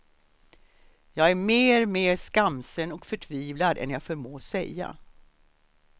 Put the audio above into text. Jag är mer, mer skamsen och förtvivlad än jag förmår säga.